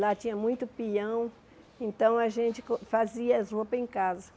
Lá tinha muito peão, então a gente co fazia as roupas em casa.